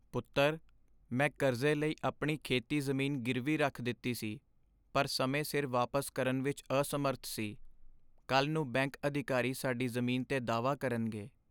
ਪੁੱਤਰ, ਮੈਂ ਕਰਜ਼ੇ ਲਈ ਆਪਣੀ ਖੇਤੀ ਜ਼ਮੀਨ ਗਿਰਵੀ ਰੱਖ ਦਿੱਤੀ ਸੀ ਪਰ ਸਮੇਂ ਸਿਰ ਵਾਪਸ ਕਰਨ ਵਿੱਚ ਅਸਮਰੱਥ ਸੀ। ਕੱਲ੍ਹ ਨੂੰ ਬੈਂਕ ਅਧਿਕਾਰੀ ਸਾਡੀ ਜ਼ਮੀਨ 'ਤੇ ਦਾਅਵਾ ਕਰਨਗੇ।